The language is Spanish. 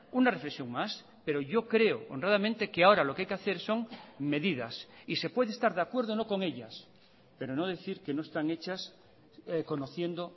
una reflexión más pero yo creo honradamente que ahora lo que hay que hacer son medidas y se puede estar de acuerdo o no con ellas pero no decir que no están hechas conociendo